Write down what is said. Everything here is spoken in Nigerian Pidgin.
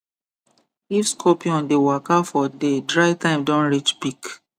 if scorpion dey waka for day dry time don reach peak